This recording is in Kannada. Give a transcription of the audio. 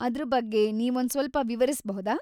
ಅದ್ರ ಬಗ್ಗೆ ನೀವೊಂದ್ಸ್ವಲ್ಪ ವಿವರಿಸ್ಬಹುದಾ?